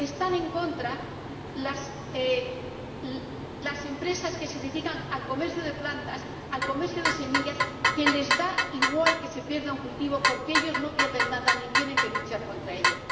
Están en contra las empresas que se dedican al comercio de plantas y al comercio de semillas, a las que les da igual que se pierda un cultivo porque ellos no pierden nada ni tienen que luchar contra ello.